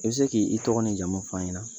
I bɛ se k'i i tɔgɔ ni jamu fɔ an ɲɛnɛ ?